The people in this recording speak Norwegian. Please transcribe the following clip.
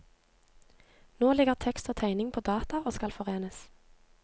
Nå ligger tekst og tegning på data og skal forenes.